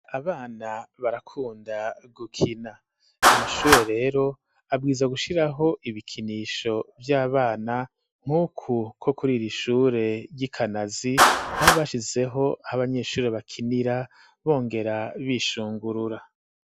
Abana barakunda gukina; amashure rero, abwirizwa gushiraho, ibikinisho vy'abana, nk'uku, kwo kuri iri shure ry'i Kanazi, aho bashizeho, aho abanyeshure bakinira, bongera bishungurura.